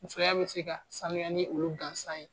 Musoya be se ka sanuya ni olu gansan ye.